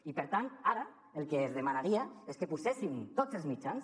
i per tant ara el que els demanaria és que poséssim tots els mitjans